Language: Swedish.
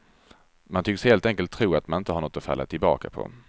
Man tycks helt enkelt tro att man inte har något att falla tillbaka på.